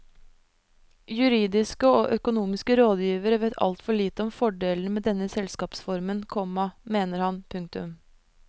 Juridiske og økonomiske rådgivere vet altfor lite om fordelene med denne selskapsformen, komma mener han. punktum